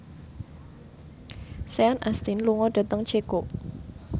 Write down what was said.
Sean Astin lunga dhateng Ceko